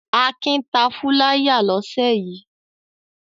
Akin ta fúláyà lọ́sẹ̀ yìí.